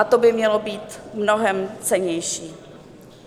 A to by mělo být mnohem cennější.